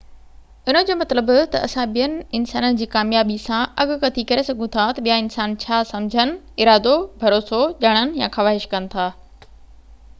ان جو مطلب تہ اسان ٻين انسانن جي ڪاميابي سان اڳڪٿي ڪري سگهون ٿا تہ ٻيا انسان ڇا سمجهن ارادو ڀروسو ڄاڻڻ يا خواهش ڪن ٿا